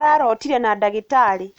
Ararotire na dagĩtarĩ.